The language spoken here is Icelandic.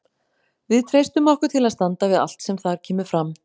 Við treystum okkur til að standa við allt það sem þar kemur fram.